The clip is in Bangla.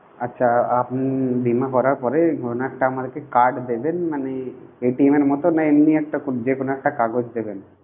আছে আপনি বীমা করার পরে আমাকে ওই ধরণের একটা card দেবেন মানে এর মতো না এমনি একটা খুব যেকোনো একটা কাগজ দেবেন.